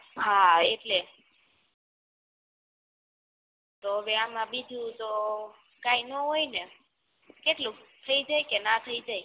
હા એટલે તો હવે આમાં બીજું તો કઈ ના હોય ને કેટલુંક થઈ જાય કે ના થઈ જાય